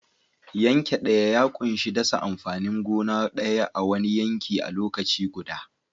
Yanke daya ya ƙunshi dasa amfanin gona guda ɗaya a'wani yanki a lokaci guda.